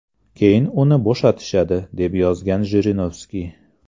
Keyin uni bo‘shatishadi”, deb yozgan Jirinovskiy.